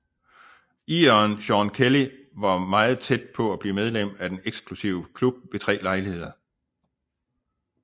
Ireren Seán Kelly var meget tæt på at blive medlem af den eksklusive klub ved tre lejligheder